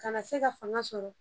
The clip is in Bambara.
Kana se ka fanga sɔrɔ